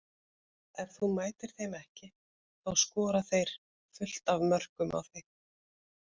Ef þú mætir þeim ekki þá skora þeir fullt af mörkum á þig.